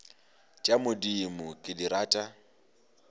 tša modimo ke di rata